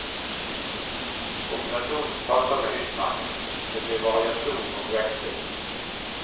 Kombinasjonen passer meg utmerket, det blir variasjon og veksling.